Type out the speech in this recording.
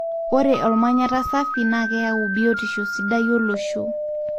ore olmanyata safi na keyau biotisho sidai olosho.